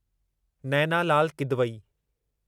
Naina Lal Kidwai